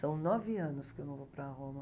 São nove anos que eu não vou para Roma.